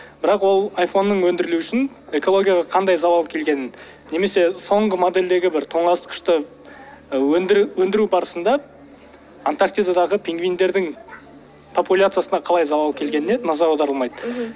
бірақ ол айфонның өңдірілуі үшін экологияға қаңдай залал келгенін немесе соңғы модельдегі бір тоңазытқышты і өндіру барысында антарктидадағы пингвиндердің популяциясына қалай залал әкелгеніне назар аударылмайды мхм